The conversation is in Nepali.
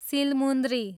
सिलमुन्द्री